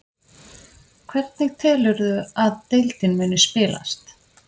Hvernig telurðu að deildin muni spilast?